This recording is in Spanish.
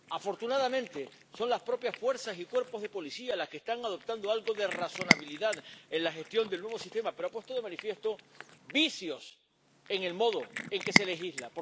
Afortunadamente, son las propias fuerzas y cuerpos de policía los que están adoptando algo de razonabilidad en la gestión del nuevo sistema, pero han puesto de manifiesto vicios en el modo en que se legisla.